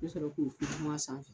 I bi sɔrɔ k'o sanfɛ.